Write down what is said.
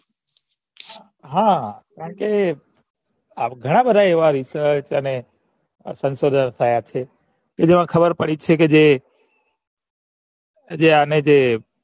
હા કારણ કે ઘણા બધા એવા research અને કે જેમાં ખબર પડે છે કે જે જે અને જે